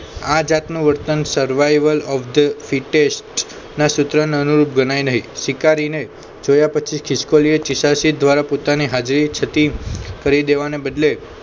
આ જાતનો વર્તન survival of the fitest ના સૂત્ર ને અનુરૂપ ગણાય નહિ શિકારીને જોયા પછી ખિસકોલી ચીશાચીશ દ્વારા પોતાની હાજરી થતી કરી દેવાને બદલે